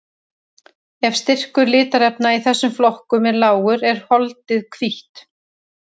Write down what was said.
Ef styrkur litarefna í þessum flokkum er lágur er holdið hvítt.